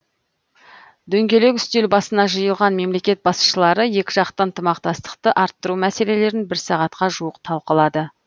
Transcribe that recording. дөңгелек үстел басына жиылған мемлекет басшылары екіжақты ынтымақтастықты арттыру мәселелерін бір сағатқа жуық талқылады